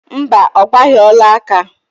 Mba, ọ gbaghị ọlaaka